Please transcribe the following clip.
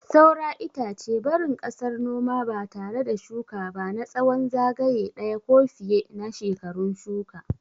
Saura itace, barin ƙasar noma ba tare da shuka ba na tsawon zagaye ɗaya ko fiye na shekarun shuka.